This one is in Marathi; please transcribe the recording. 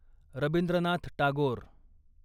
रबींद्रनाथ टागोर